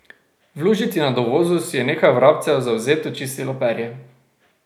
V lužici na dovozu si je nekaj vrabcev zavzeto čistilo perje.